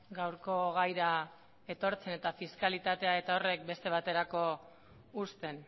gaurko gaira etortzen eta fiskalitatea eta horrek beste baterako uzten